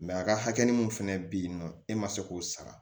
a ka hakɛ mun fɛnɛ be yen nɔ e ma se k'o sara